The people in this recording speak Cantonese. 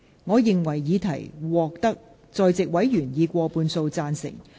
我認為議題獲得在席委員以過半數贊成。